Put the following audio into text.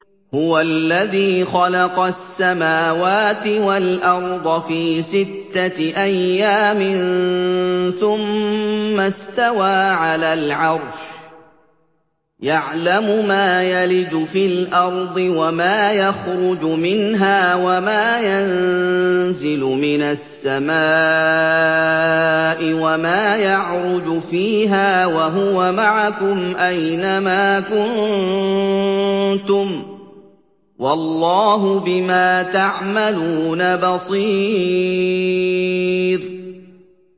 هُوَ الَّذِي خَلَقَ السَّمَاوَاتِ وَالْأَرْضَ فِي سِتَّةِ أَيَّامٍ ثُمَّ اسْتَوَىٰ عَلَى الْعَرْشِ ۚ يَعْلَمُ مَا يَلِجُ فِي الْأَرْضِ وَمَا يَخْرُجُ مِنْهَا وَمَا يَنزِلُ مِنَ السَّمَاءِ وَمَا يَعْرُجُ فِيهَا ۖ وَهُوَ مَعَكُمْ أَيْنَ مَا كُنتُمْ ۚ وَاللَّهُ بِمَا تَعْمَلُونَ بَصِيرٌ